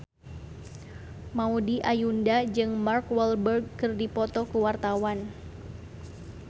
Maudy Ayunda jeung Mark Walberg keur dipoto ku wartawan